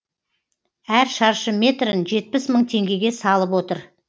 әр шаршы метрін жетпіс мың теңгеге салып отыр